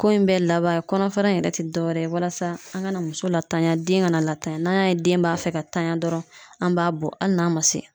Ko in bɛɛ laban ye kɔnɔfara in yɛrɛ ti dɔwɛrɛ ye walasa an kana muso latanya den kana latanya n'an y'a ye den b'a fɛ ka tanya dɔrɔn an b'a bɔ ali n'a ma se